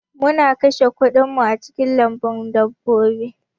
Mun kashe kuɗin mu a cikin lambun dabbobi